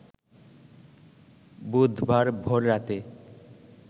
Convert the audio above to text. বুধবার ভোর রাতে